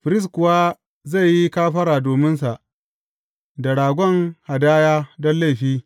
Firist kuwa zai yi kafara dominsa da ragon hadaya don laifi.